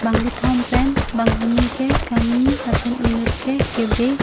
bangkethom pen banghini ke kangni lapen enut ke kebe.